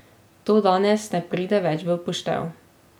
To danes ne pride več v poštev.